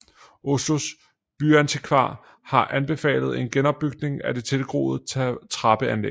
Oslos byantikvar har anbefalet en genopbygning af det tilgroede trappeanlæg